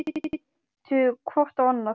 Stjáni og Vala litu hvort á annað.